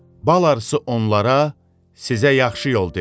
Bal arısı onlara, sizə yaxşı yol dedi.